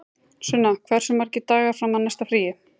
Sunna, hversu margir dagar fram að næsta fríi?